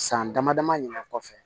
San dama dama ɲinin kɔfɛ